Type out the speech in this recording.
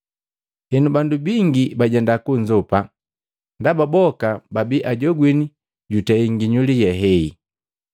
Henu bandu bingi bajenda kunzopa, ndaba boka babi ajogwini jutei nginyuli ye hehi.